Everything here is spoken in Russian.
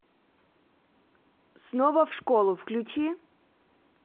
снова в школу включи